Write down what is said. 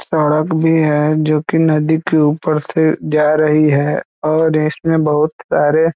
सड़क भी है जो की नदी के ऊपर से जा रही है और इसमें बहोत सारे--